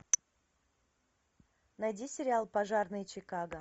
найди сериал пожарные чикаго